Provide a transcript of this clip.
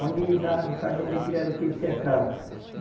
Onde ele dava o cardume de pirarucu, ele cercava.